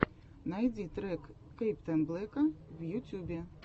найди трек каптэйнблека в ютюбе